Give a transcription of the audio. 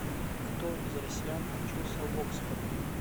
кто из россиян учился в оксфорде